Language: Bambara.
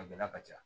A gɛlɛya ka ca